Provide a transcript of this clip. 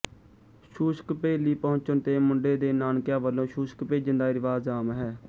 ਛੂਛਕਭੇਲੀ ਪਹੁੰਚਣ ਤੇ ਮੁੰਡੇ ਦੇ ਨਾਨਕਿਆਂ ਵੱਲੋਂ ਛੂਛਕ ਭੇਜਣ ਦਾ ਰਿਵਾਜ਼ ਆਮ ਹੈ